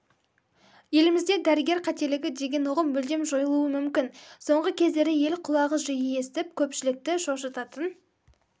елімізде дәрігер қателігі деген ұғым мүлдем жойылуы мүмкін соңғы кездері ел құлағы жиі естіп көпшілікті шошытатын